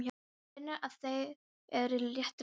Hann finnur að þau eru á réttri leið.